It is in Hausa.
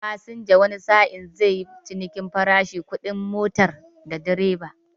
Fasinja wani sa'in zai yi cinikin farashi kudin motar da direba.